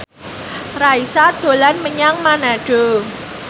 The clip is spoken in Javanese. Raisa dolan menyang Manado